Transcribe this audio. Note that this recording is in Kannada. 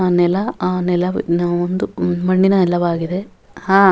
ನೆಲ ಅ ನೆಲ ಒಂದು ಮಣ್ಣಿನ ನೆಲವಾಗಿದೆ ಹಾ --